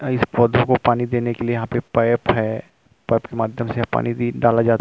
इस पौधों को पानी देने के लिए यहाँ पे पैप है पैप के माध्यम से पानी डाला जाता --